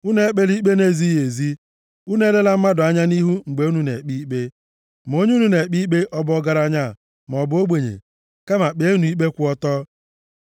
“ ‘Unu ekpela ikpe na-ezighị ezi, unu elela mmadụ anya nʼihu mgbe unu na-ekpe ikpe, ma onye unu na-ekpe ikpe ọ bụ ọgaranya maọbụ ogbenye. Kama kpeenụ ikpe kwụ ọtọ.